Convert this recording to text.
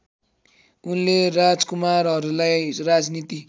उनले राजकुमारहरूलाई राजनीति